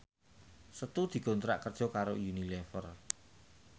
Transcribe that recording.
Setu dikontrak kerja karo Unilever